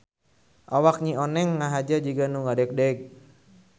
Awak Nyi Oneng ngahaja jiga nu ngadegdeg.